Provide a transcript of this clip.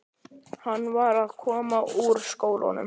Hann var að koma úr skólanum.